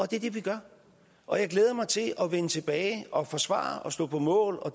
det er det vi gør og jeg glæder mig til at vende tilbage og forsvare og stå på mål og